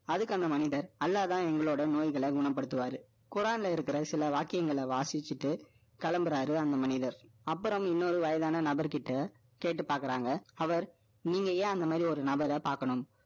அதுக்கு அந்த மனிதர், அல்லாஹ்தான் எங்களோட நோய்களை குணப்படுத்துவாரு. குரான்ல இருக்கிற சில வாக்கியங்களை வாசிச்சுட்டு, கிளம்புறாரு, அந்த மனிதர். அப்புறம், இன்னொரு வயதான நபர்கிட்ட, கேட்டு பார்க்குறாங்க. அவர், நீங்க ஏன், அந்த மாதிரி, ஒரு நபரை பார்க்கணும்?